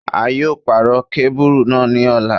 A yóò pàrọ̀ kábùrù náà ní ọ̀la.